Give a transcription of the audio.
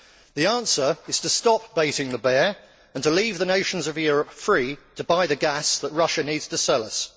The answer is to stop baiting the bear' and to leave the nations of Europe free to buy the gas that Russia needs to sell us.